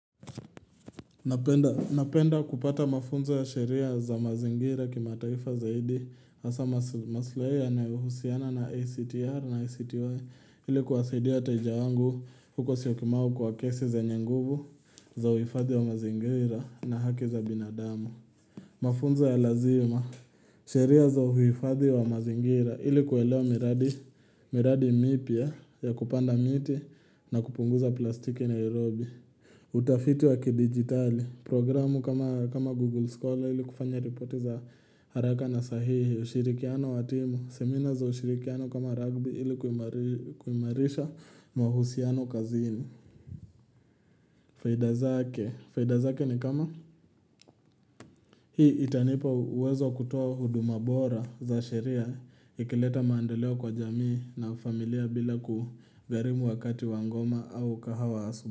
Napenda kupata mafunzo ya sheria za mazingira kima taifa zaidi hasa maslahi yanayohusiana na ICTR na ICTY ilikuwa saidi wateja wangu huko syokimau kwa kesi zenye nguvu za uhifadhi wa mazingira na haki za binadamu. Mafunzo ya lazima, sheria za uhifadhi wa mazingira ilikuelewa miradi mipya ya kupanda miti na kupunguza plastiki nairobi. Utafiti wa kidigitali programu kama Google Scholar ili kufanya ripoti za haraka na sahihi ushirikiano wa timu Semina za ushirikiano kama rugby ili kuimarisha mahusiano kazini Faidazake, faidazake ni kama Hii itanipa uwezo wa kutoa huduma bora za sheria ikileta maendeleo kwa jamii na familia bila kugarimu wakati wangoma au kahawa asubu.